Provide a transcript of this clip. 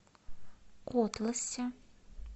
котласе